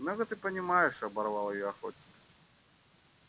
много ты понимаешь оборвал её охотник